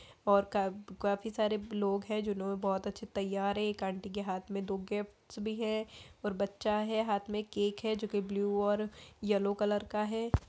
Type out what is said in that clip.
और का काफी सारे लोग है जिन्होंने बहुत अच्छे तैयार है एक आंटी के हाथ मे दो गिफ्ट्स भी है और बच्चा है हाथ मे केक है जो कि ब्लू और येलो कलर का है।